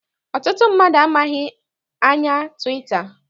Ọtụtụ mmadụ amaghị anya twita.